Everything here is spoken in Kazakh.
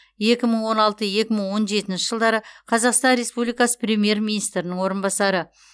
екі мың он алты екі мың он жетінші жылдары қазақстан республикасы премьер министрінің орынбасары